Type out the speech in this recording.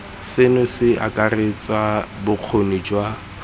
seno se akaretsa bokgoni jwa